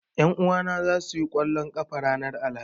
Ƴan uwana zasu yi ƙwallon ƙafa ranar Alhamis